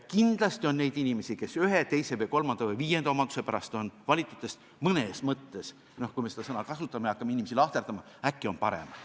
Kindlasti on neid inimesi, kes ühe, teise, kolmanda või viienda omaduse pärast on valitutest mõnes mõttes paremad – kui me seda sõna kasutame, hakkame inimesi lahterdama.